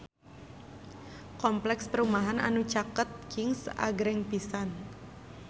Kompleks perumahan anu caket Kings agreng pisan